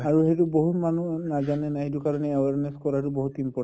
আৰু সেইটো বহুত মানুহে নাজানে ন সেইটো কাৰণে awareness কৰাতো বহুত important